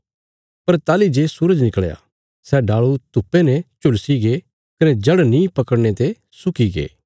पर ताहली जे सूरज निकल़या सै डाल़ू धुप्पे ने झुलसिगे कने जड़ नीं पकड़ने ते सुकीगे